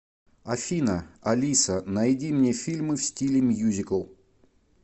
афина алиса найди мне фильмы в стиле мьюзикл